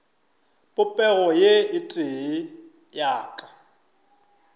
popego ye tee ya ka